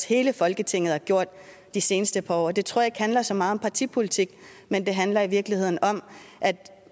hele folketinget har gjort de seneste par år det tror jeg ikke handler så meget om partipolitik men det handler måske i virkeligheden om at